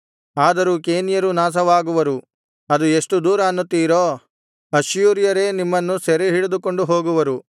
ಆದರೂ ಕೇನ್ಯರೂ ನಾಶವಾಗುವರು ಅದು ಎಷ್ಟು ದೂರ ಅನ್ನುತ್ತೀರೋ ಅಶ್ಶೂರ್ಯರೇ ನಿಮ್ಮನ್ನು ಸೆರೆಹಿಡಿದುಕೊಂಡು ಹೋಗುವರು